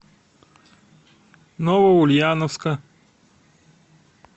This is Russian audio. новоульяновска